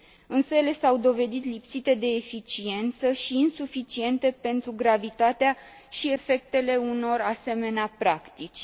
Însă ele s au dovedit lipsite de eficiență și insuficiente pentru gravitatea și efectele unor asemenea practici.